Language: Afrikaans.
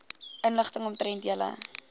inligting omtrent julle